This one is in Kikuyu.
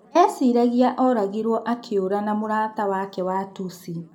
Eciragĩrio oragirwo akĩura na mũrata wake wa Tusi.